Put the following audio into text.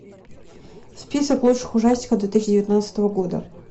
список лучших ужастиков две тысячи девятнадцатого года